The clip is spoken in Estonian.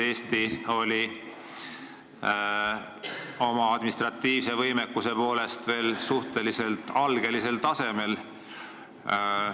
Eesti oli siis oma administratiivse võimekuse poolest veel suhteliselt algelisel tasemel.